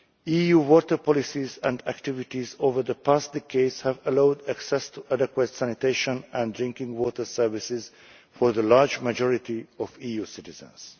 EU water policies and activities over the past decades have allowed access to adequate sanitation and drinking water services for the large majority of EU citizens.